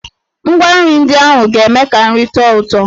Ngwa nri ndị ahụ ga-eme ka nri tọọ ụtọ.